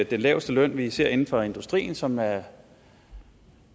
den laveste løn vi ser inden for industrien som er